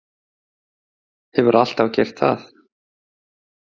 Hefur alltaf gert það.